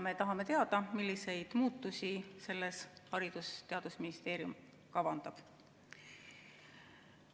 Me tahame teada, milliseid muutusi Haridus- ja Teadusministeerium kavandab.